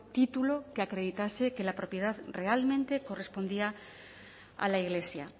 título que acreditase que la propiedad realmente correspondía a la iglesia